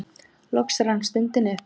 Loks rann stundin upp.